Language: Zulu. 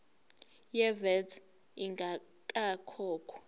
ye vat ingakakhokhwa